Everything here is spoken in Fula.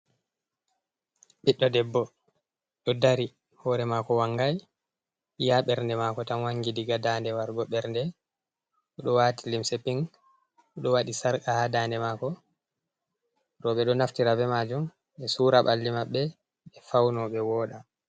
Ɓiɗɗo debbo ɗo dari hore mako wangai iya ɓernde mako tan wangi, diga dande wargo bernde, oɗo wati limse ping, o ɗo wadi sarqa ha dande mako, roɓe ɗo naftira be majun ɓe sura ɓalli maɓɓe ɓe fauno ɓe woɗa.